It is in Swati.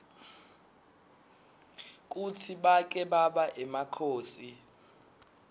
kutsi bake baba emakhosi